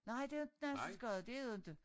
Nej det inte Nansensgade det er det inte